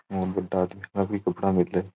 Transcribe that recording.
और बड़ा आदमी का भी कपडा मिल।